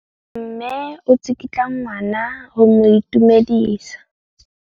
Mme o tsikitla ngwana go mo itumedisa.